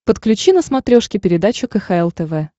подключи на смотрешке передачу кхл тв